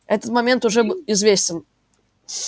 этот момент уже известен